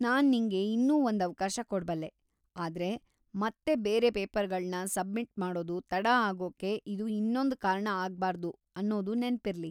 ನಾನ್ ನಿಂಗೆ ಇನ್ನೂ ಒಂದ್ ಅವ್ಕಾಶ ಕೊಡ್ಬಲ್ಲೆ, ಆದ್ರೆ ಮತ್ತೆ ಬೇರೆ ಪೇಪರ್‌ಗಳ್ನ ಸಬ್ಮಿಟ್‌ ಮಾಡೋದು ತಡ ಆಗೋಕೆ ಇದು ಇನ್ನೊಂದ್‌ ಕಾರ್ಣ ಆಗ್ಬಾರ್ದು ಅನ್ನೋದು ನೆನ್ಪಿರ್ಲಿ.